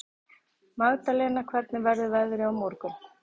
Magdalena, hvernig verður veðrið á morgun?